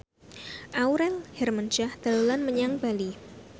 Aurel Hermansyah dolan menyang Bali